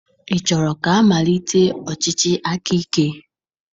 Ị chọrọ ka amalitekwa ọchịchị akaike?